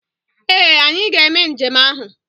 Ee! Anyị ga-eme njem ahụ.